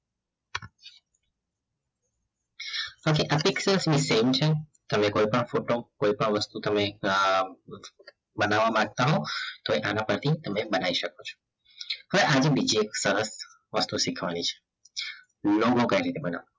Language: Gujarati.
okay આપણી same છે તમે કોઈપણ ફોટો કોઈપણ વસ્તુ તમે બનાવવા માંગતા હો તો તમે આના પ્રતિ બનાવી શકો છો હવે આની બીજી એક સરસ વાતો શીખવાની છે logo કઈ રીતે બનાવવાનો